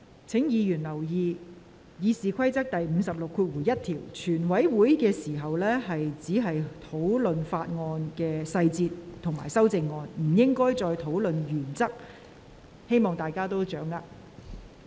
請委員注意，根據《議事規則》第561條，在全體委員會審議階段只可討論法案條文及修正案的細節，不得討論其原則，希望委員留意。